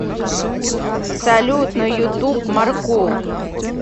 салют на ютуб маркул